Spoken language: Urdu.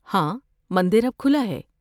ہاں، مندر اب کھلا ہے۔